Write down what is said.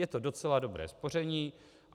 Je to docela dobré spoření.